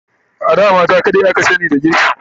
A da mata kadai aka sani da girki